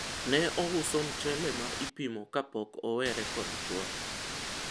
ne ouso mchele ma ipimo kapok owere kod chuore